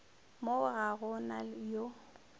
mo ga go na yo